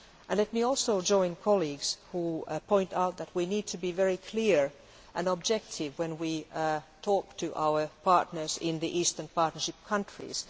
Let me also join those colleagues who point out that we need to be very clear and objective when we talk to our partners in the Eastern Partnership countries.